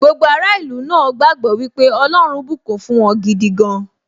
Gbogbo ará ìlú náà gbagbọ wípé ọlọ́run bùkún fún wọn gidi gan